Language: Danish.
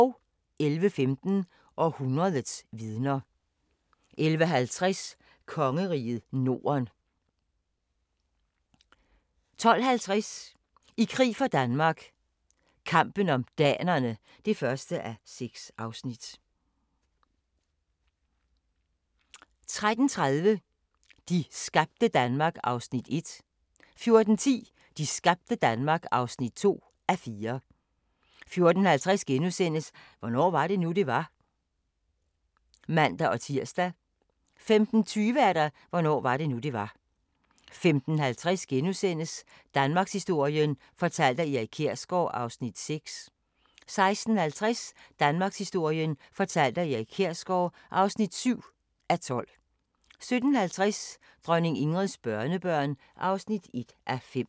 11:15: Århundredets vidner 11:50: Kongeriget Norden 12:50: I krig for Danmark - kampen om danerne (1:6) 13:30: De skabte Danmark (1:4) 14:10: De skabte Danmark (2:4) 14:50: Hvornår var det nu, det var? *(man-tir) 15:20: Hvornår var det nu, det var? 15:50: Danmarkshistorien fortalt af Erik Kjersgaard (6:12)* 16:50: Danmarkshistorien fortalt af Erik Kjersgaard (7:12) 17:50: Dronning Ingrids børnebørn (1:5)